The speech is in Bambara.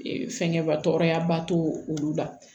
fɛngɛba tɔya ba to olu la